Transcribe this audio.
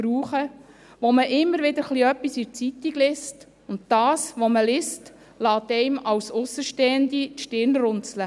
Darüber liest man immer wieder etwas in der Zeitung, und das, was man liest, lässt einen als Aussenstehende die Stirn runzeln.